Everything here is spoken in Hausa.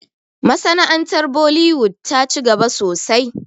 Masana'antar bollywood ta ci gaba sosai